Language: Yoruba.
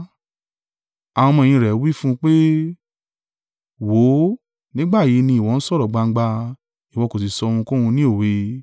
Àwọn ọmọ-ẹ̀yìn rẹ̀ wí fún un pé, “Wò ó, nígbà yìí ni ìwọ ń sọ̀rọ̀ gbangba, ìwọ kò sì sọ ohunkóhun ní òwe.